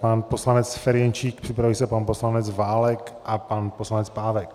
Pan poslanec Ferjenčík, připraví se pan poslanec Válek a pan poslanec Pávek.